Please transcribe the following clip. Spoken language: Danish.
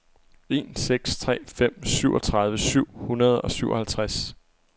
en seks tre fem syvogtredive syv hundrede og syvoghalvtreds